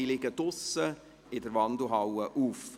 Diese Petitionen liegen draussen in der Wandelhalle auf.